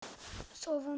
sá vondi